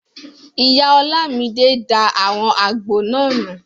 Ìyá Ọlámidé da àwọn àgbo náà nù